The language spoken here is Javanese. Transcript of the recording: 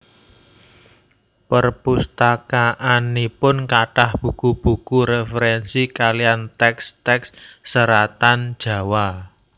Perpustakaanipun kathah buku buku referensi kalian teks teks seratan Jawa